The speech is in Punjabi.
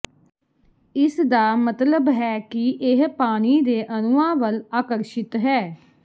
ਇਸਦਾ ਮਤਲਬ ਹੈ ਕਿ ਇਹ ਪਾਣੀ ਦੇ ਅਣੂਆਂ ਵੱਲ ਆਕਰਸ਼ਿਤ ਹੈ